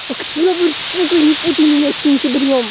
октябрь сука не путай меня с сентябрём